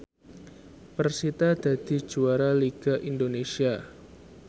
persita dadi juara liga Indonesia